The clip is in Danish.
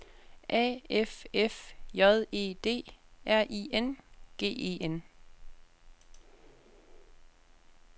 A F F J E D R I N G E N